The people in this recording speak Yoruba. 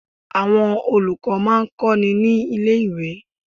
Àwọn olùkọ́ má a ń kó ni ní lé ìwé